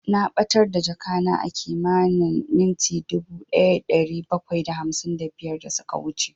Na ɓatar da jakana a kimanin minti dubu ɗaya da ɗari bakwai da hamsin da biyar da suka wuce